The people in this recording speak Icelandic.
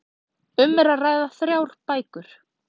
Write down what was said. Um er að ræða þrjár bækur